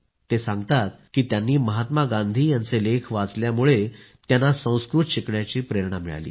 ते सांगतात की त्यांनी महात्मा गांधी यांचे लेख वाचल्यामुळे त्यांना संस्कृत भाषा शिकण्याची प्रेरणा मिळाली